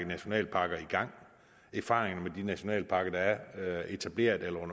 nationalparker erfaringerne fra de nationalparker der er etableret eller er